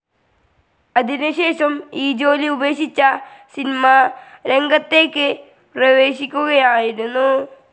അതിനുശേഷം ഈ ജോലി ഉപേക്ഷിച്ച സിനിമാരംഗത്തേക്ക് പ്രേവേശിക്കുകയായിരുന്നു.